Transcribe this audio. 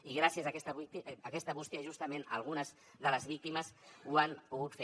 i gràcies a aquesta bústia justament algunes de les víctimes ho han pogut fer